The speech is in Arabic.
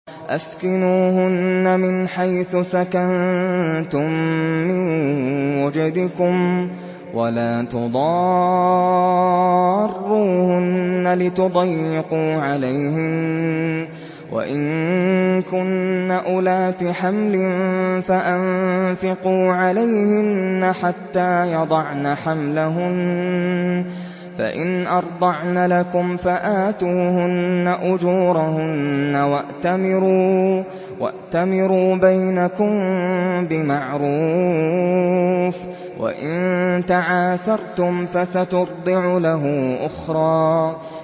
أَسْكِنُوهُنَّ مِنْ حَيْثُ سَكَنتُم مِّن وُجْدِكُمْ وَلَا تُضَارُّوهُنَّ لِتُضَيِّقُوا عَلَيْهِنَّ ۚ وَإِن كُنَّ أُولَاتِ حَمْلٍ فَأَنفِقُوا عَلَيْهِنَّ حَتَّىٰ يَضَعْنَ حَمْلَهُنَّ ۚ فَإِنْ أَرْضَعْنَ لَكُمْ فَآتُوهُنَّ أُجُورَهُنَّ ۖ وَأْتَمِرُوا بَيْنَكُم بِمَعْرُوفٍ ۖ وَإِن تَعَاسَرْتُمْ فَسَتُرْضِعُ لَهُ أُخْرَىٰ